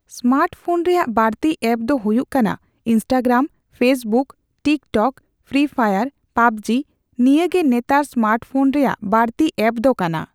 Smart phone ᱨᱮᱭᱟᱜ ᱵᱟᱹᱲᱛᱤ apps ᱫᱚ ᱦᱩᱭᱩᱜ ᱠᱟᱱᱟ Instagram, Facebook, TikTok, Free Fire, PUBG, ᱱᱤᱭᱟᱹ ᱜᱮ ᱱᱮᱛᱟᱨ ᱥᱢᱟᱨᱴ ᱯᱷᱳᱱ ᱨᱮᱭᱟᱜ ᱵᱟ.ᱲᱛᱤ ᱮᱯᱥ ᱫᱚ ᱠᱟᱱᱟ ᱾